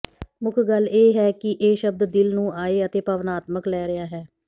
ਮੁੱਖ ਗੱਲ ਇਹ ਹੈ ਕਿ ਇਹ ਸ਼ਬਦ ਦਿਲ ਨੂੰ ਆਏ ਅਤੇ ਭਾਵਨਾਤਮਕ ਲੈ ਰਿਹਾ ਹੈ